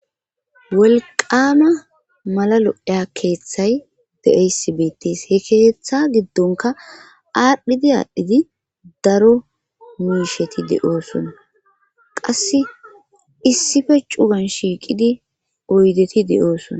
Wolqama malalo7eya keeththay de7eysi beettis he keeththa giddonka aadhdhidi aadhdhidi daro muisheti de7oosona qasse issife cugan shiiqidi oydeti de7oosona.